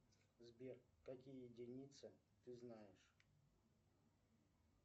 сбер какие единицы ты знаешь